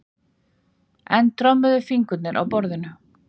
Enn trommuðu fingurnir á borðinu.